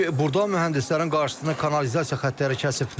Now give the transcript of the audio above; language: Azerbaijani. Çünki burda mühəndislərin qarşısına kanalizasiya xətləri kəsib.